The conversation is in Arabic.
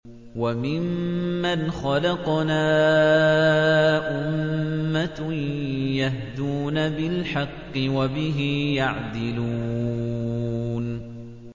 وَمِمَّنْ خَلَقْنَا أُمَّةٌ يَهْدُونَ بِالْحَقِّ وَبِهِ يَعْدِلُونَ